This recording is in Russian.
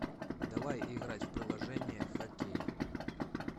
давай играть в приложение хоккей